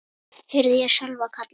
heyrði ég Sölva kalla.